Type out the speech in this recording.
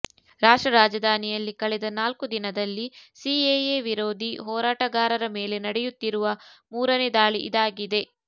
ರಾಷ್ಟ್ರ ರಾಜಧಾನಿಯಲ್ಲಿ ಕಳೆದ ನಾಲ್ಕು ದಿನದಲ್ಲಿ ಸಿಎಎ ವಿರೋಧಿ ಹೋರಾಟಗಾರರ ಮೇಲೆ ನಡೆಯುತ್ತಿರುವ ಮೂರನೇ ದಾಳಿ ಇದಾಗಿದೆ